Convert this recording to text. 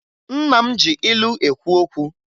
Nna m ji ilu ekwu okwu